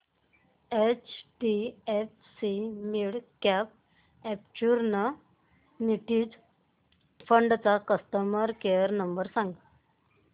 HDFC midcap opportunities fund चा customer care number सांग